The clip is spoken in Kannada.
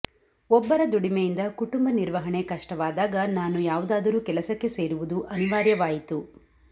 ಒಬ್ಬರ ದುಡಿಮೆಯಿಂದ ಕುಟುಂಬ ನಿರ್ವಹಣೆ ಕಷ್ಟವಾದಾಗ ನಾನು ಯಾವುದಾದರೂ ಕೆಲಸಕ್ಕೆ ಸೇರುವುದು ಅನಿವಾರ್ಯವಾಯಿತು